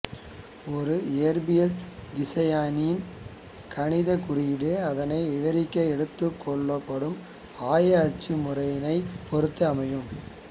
ஒரு இயற்பியல் திசையனின் கணிதக் குறியீடு அதனை விவரிக்க எடுத்துக்கொள்ளப்படும் ஆய அச்சு முறைமையைப் பொறுத்து அமையும்